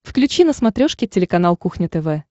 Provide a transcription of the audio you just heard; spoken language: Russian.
включи на смотрешке телеканал кухня тв